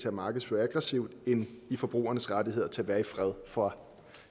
at markedsføre aggressivt end af brugernes rettigheder til at være i fred for